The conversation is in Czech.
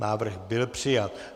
Návrh byl přijat.